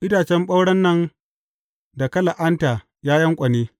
Itacen ɓauren nan da ka la’anta, ya yanƙwane!